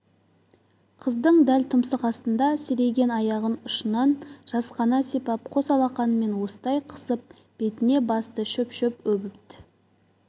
қыздың дәл тұмсық астында серейген аяғын ұшынан жасқана сипап қос алақанымен уыстай қысып бетіне басты шөп-шөп өбіт